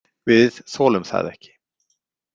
Við þolum það ekki.